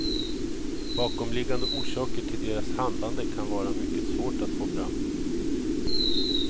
Bakomliggande orsaker till deras handlade kan vara mycket svårt att få fram.